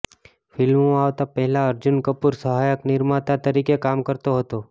ફિલ્મોમાં આવતા પહેલા અર્જુન કપૂર સહાયક નિર્માતા તરીકે કામ કરતો હતો